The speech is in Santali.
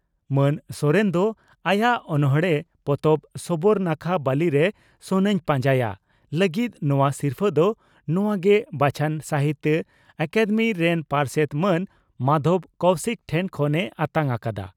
ᱢᱟᱱ ᱥᱚᱨᱮᱱ ᱫᱚ ᱟᱭᱟᱜ ᱚᱱᱚᱲᱬᱮ ᱯᱚᱛᱚᱵ 'ᱥᱚᱵᱚᱨ ᱱᱟᱠᱷᱟ ᱵᱟᱹᱞᱤᱨᱮ ᱥᱚᱱᱟᱧ ᱯᱟᱸᱡᱟᱭᱟ' ᱞᱟᱹᱜᱤᱫ ᱱᱚᱣᱟ ᱥᱤᱨᱯᱷᱟᱹ ᱫᱚ ᱱᱚᱣᱟ ᱜᱮ ᱵᱟᱪᱷᱚᱱ ᱥᱟᱦᱤᱛᱭᱚ ᱟᱠᱟᱫᱮᱢᱤ ᱨᱮᱱ ᱯᱟᱨᱥᱮᱛ ᱢᱟᱱ ᱢᱟᱫᱷᱚᱵᱽ ᱠᱚᱣᱥᱤᱠ ᱴᱷᱮᱱ ᱠᱷᱚᱱ ᱮ ᱟᱛᱟᱝ ᱟᱠᱟᱫᱼᱟ ᱾